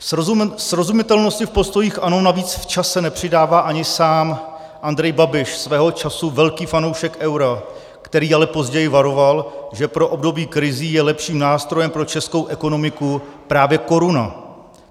Srozumitelnosti v postojích ANO navíc v čase nepřidává ani sám Andrej Babiš, svého času velký fanoušek eura, který ale později varoval, že pro období krizí je lepším nástrojem pro českou ekonomiku právě koruna.